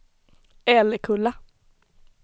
Älekulla